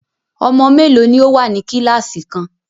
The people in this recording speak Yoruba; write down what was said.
Ọmọ mélòó ní o wá ní kíláàsì kan?